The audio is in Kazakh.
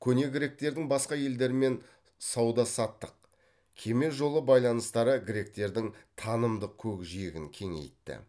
көне гректердің басқа елдермен сауда саттық кеме жолы байланыстары гректердің танымдық көкжиегін кеңейтті